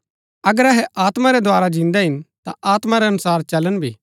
अगर अहै आत्मा रै द्धारा जिन्दै हिन ता आत्मा रै अनुसार चलन भी